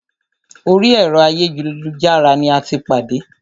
Orí ẹ̀rọ ayélujára ní a tí pàdé.